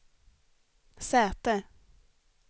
säte